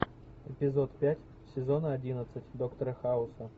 эпизод пять сезона одиннадцать доктора хауса